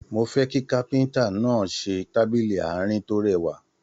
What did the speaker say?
Mo fẹ kí káfíntà náà ṣe tábìlì àárín to rẹwà.